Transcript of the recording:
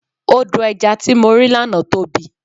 Odò ẹja tí mo rí lánàá tóbi.